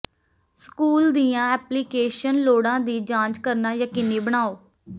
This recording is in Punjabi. ਸਕੂਲ ਦੀਆਂ ਐਪਲੀਕੇਸ਼ਨ ਲੋੜਾਂ ਦੀ ਜਾਂਚ ਕਰਨਾ ਯਕੀਨੀ ਬਣਾਓ